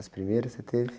As primeiras que você teve?